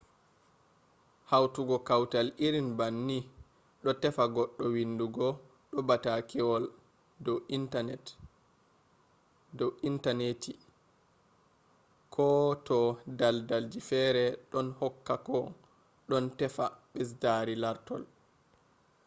hautugo kawtal irin banni do tefa goɗɗo windugo do batakewol do internati; ko to daldalji feere ɗon hokka ko don teefa ɓesdari lartol